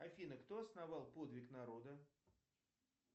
афина кто основал подвиг народа